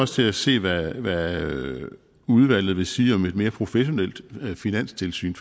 til at se hvad udvalget udvalget vil sige om et mere professionelt finanstilsyn